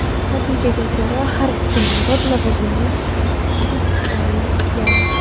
Natijaga ko‘ra har ikki nomzod lavozimga tasdiqlangan.